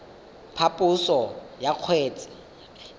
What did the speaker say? phaposo ya kgetse mo tshekong